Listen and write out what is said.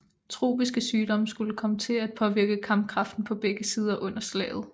Tropiske sygdomme skulle komme til at påvirke kampkraften på begge sider under slaget